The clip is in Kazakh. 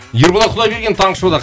ерболат құдайбергенов таңғы шоуда